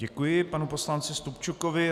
Děkuji panu poslanci Stupčukovi.